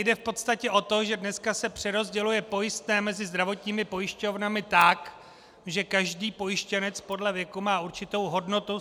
Jde v podstatě o to, že dneska se přerozděluje pojistné mezi zdravotními pojišťovnami tak, že každý pojištěnec podle věku má určitou hodnotu.